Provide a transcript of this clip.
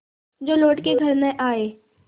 जो लौट के घर न आये